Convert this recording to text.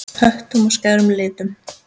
Höttum og skærum litum.